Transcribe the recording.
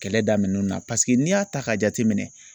Kɛlɛ daminɛn na paseke n'i y'a ta k'a jateminɛ.